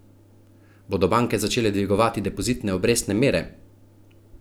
Bodo banke začele dvigovati depozitne obrestne mere?